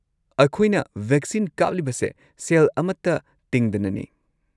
ꯑꯩꯈꯣꯏꯅ ꯚꯦꯛꯁꯤꯟ ꯀꯥꯞꯂꯤꯕꯁꯦ ꯁꯦꯜ ꯑꯃꯠꯇ ꯇꯤꯡꯗꯅꯅꯤ꯫